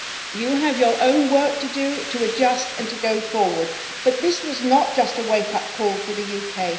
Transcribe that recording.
You have your own work to do to adjust and to go forward, but this was not just a wake-up call for the UK.